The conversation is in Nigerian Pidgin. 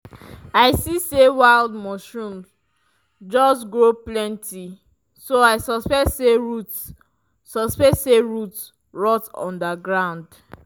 i see say wild mushrooms just grow plenty so i suspect say roots suspect say roots dey rot under ground.